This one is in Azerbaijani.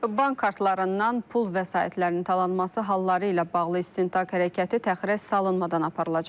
Bank kartlarından pul vəsaitlərinin talanması halları ilə bağlı istintaq hərəkəti təxirə salınmadan aparılacaq.